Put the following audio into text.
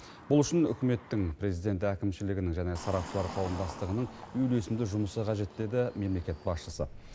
бұл үшін үкіметтің президент әкімшілігінің және сарапшылар қауымдастығының үйлесімді жұмысы қажет деді мемлекет басшысы